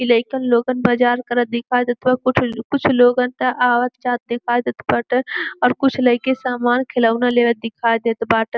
इ लईकन लोगन बाजार करत दिखा देत ह्। कुठ कुछ लोगन त आवत जात दिखाई देत बाटे और कुछ लइके सामान खिलौना लेबत दिखाई देत बाटे।